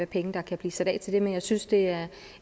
penge der kan blive sat af til det men jeg synes det er